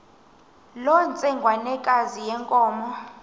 loo ntsengwanekazi yenkomo